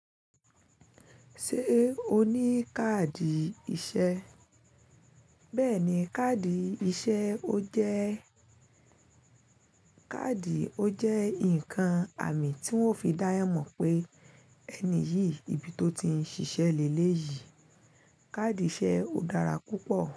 Ṣé o ní káàdì iṣẹ́? Bẹ́ẹ̀ni, káàdì iṣẹ́ ọ jẹ́ káàdì ọ jẹ́ nǹkan àmì tí wọ́n fi dáyan mọ̀ pé ẹni yìí ibi tó ti ń ṣiṣẹ́ lé léyìí. Káàdì iṣẹ́ ò dára púpọ̀